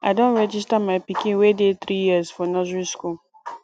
i don register my pikin wey dey three years for nursery school